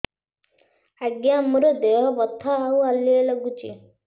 ଆଜ୍ଞା ମୋର ଦେହ ବଥା ଆଉ ହାଲିଆ ଲାଗୁଚି